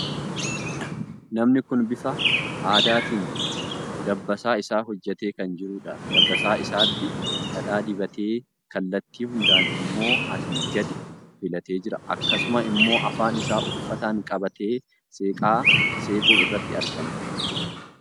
Namni kun bifa aadaatiin dabbasaa isaa hojjetatee kan jiruudha. Dabbasaa isaatti dhadhaa dibatee kalattii hundaan immoo asii gad filatee jira. Akkasuma immoo afaan isaa uffataan qabatee seeqaa seequu irratti argama.